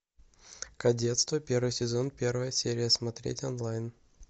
кадетство первый сезон первая серия смотреть онлайн